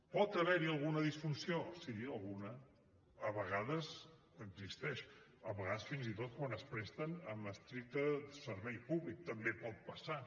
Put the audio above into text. pot haver hi alguna disfunció sí alguna a vegades existeix a vegades fins i tot quan es presten amb estricte servei públic també pot passar